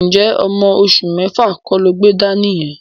Ǹjẹ́ ọmọ oṣù mẹ́fà kọ́ lo gbé dání yẹn?